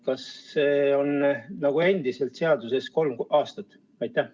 Kas see on endiselt kolm aastat nagu seaduses?